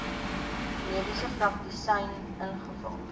mediese praktisyn ingevul